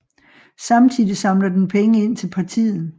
Samtidig samler den penge ind til partiet